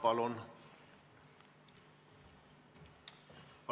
Palun!